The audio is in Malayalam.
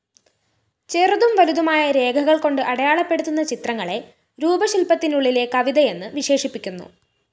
ചെറുതും വലുതുമായ രേഖകള്‍ക്കൊണ്ട് അടയാളപ്പെടുത്തുന്ന ചിത്രങ്ങളെ രൂപശില്‍പത്തിനുള്ളിലെ കവിതയെന്ന് വിശേഷിപ്പിക്കുന്നു